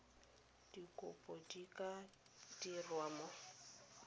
dikopo di ka dirwa mo